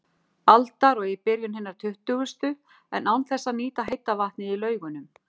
aldar og í byrjun hinnar tuttugustu, en án þess að nýta heita vatnið í Laugunum.